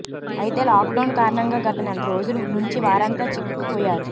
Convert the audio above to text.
అయితే లాక్డౌన్ కారణంగా గత నెల రోజులు నుంచి వారంతా చిక్కుకుపోయారు